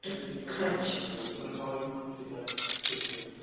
টা খারাপ ছিল আমার তো শুনেই খারাপ লাগে কোনো স্বাভাবিক মানুষ সেটা সহ্য করতে